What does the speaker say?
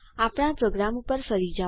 આપણા પ્રોગ્રામ ઉપર ફરી જાઓ